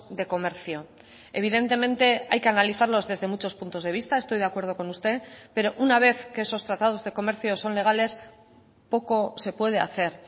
de comercio evidentemente hay que analizarlos desde muchos puntos de vista estoy de acuerdo con usted pero una vez que esos tratados de comercio son legales poco se puede hacer